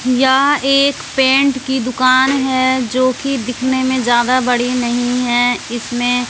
यह एक पेंट की दुकान है जो कि दिखने में ज्यादा बड़ी नहीं है इसमें--